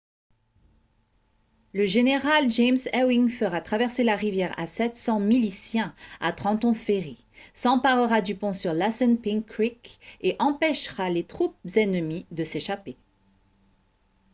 le général james ewing fera traverser la rivière à 700 miliciens à trenton ferry s'emparera du pont sur l'assunpink creek et empêchera les troupes ennemies de s'échapper